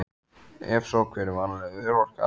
Ef svo, hver er varanleg örorka?